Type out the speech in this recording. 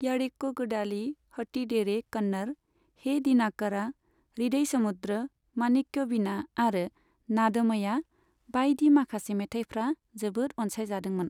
यारेकुगडालि, हुट्टीडेरे कन्नर, हे दिनाकारा, हृदय समुद्र, माणिक्यविणा आरो नादमया बायदि माखासे मेथायफ्रा जोबोद अनसायजादोंमोन।